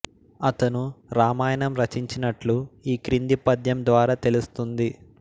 అతను రామాయణం రచించినట్లు ఈ క్రింది పద్యం ద్వారా తెలుస్తుంది